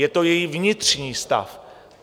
Je to její vnitřní stav.